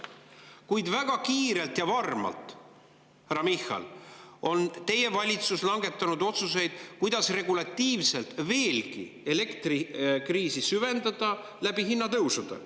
Kuid väga kiirelt ja varmalt, härra Michal, on teie valitsus langetanud otsuseid, kuidas regulatiivselt elektrikriisi hinnatõusude abil veelgi süvendada.